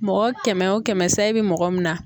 Mɔgɔ kɛmɛ wo kɛmɛ sayi bi mɔgɔ min na